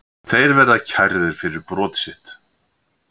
Þeir verða kærðir fyrir brot sitt